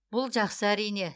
бұл жақсы әрине